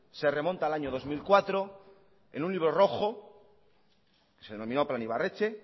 se remonta al año dos mil cuatro en un libro rojo se denominó plan ibarretxe